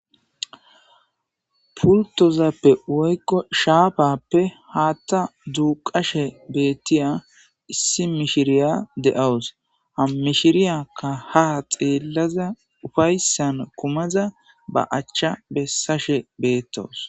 Pultozappe woyko shappape hatha duqashe betiya iss mishiriya de'eawus ha mishiriyakka ha xelada ufaysan kumada ba acha besashe betawusu